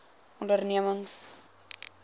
ondernemings